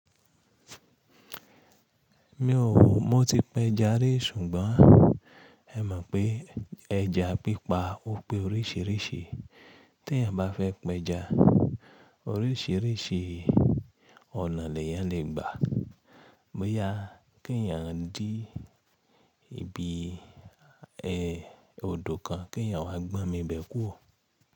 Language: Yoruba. Mi ò mọ tí péja ri, ṣùgbọ́n ẹ mọ̀ pé ẹja pípa ò pé oríṣíríṣí. Tí èèyàn bá fẹ́ péja, oríṣìríṣí ọ̀nà ni èèyàn lè gbà. Bo yá kí èèyàn jí ibi ẹ́ odò kan, kí èèyàn wá gbọ́n mi bẹ̀ kú o.